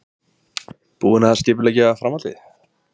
Hrund: Búinn að skipuleggja framhaldið?